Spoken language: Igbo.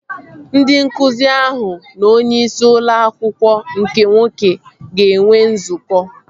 Ndị nkụzi ahụ na onye isi ụlọ akwụkwọ nke nwoke ga-enwe nzukọ